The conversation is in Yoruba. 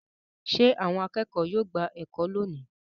Ṣé àwọn akẹ́kọ̀ọ́ yóò gba ẹ̀kọ́ lónìí?